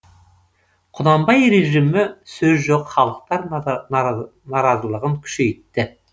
құнанбай режимі сөз жоқ халықтар наразылығын күшейтті